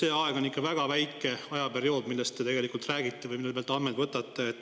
See periood on ikka väga väike, millest te tegelikult räägite või mille pealt te andmeid võtate.